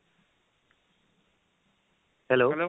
hello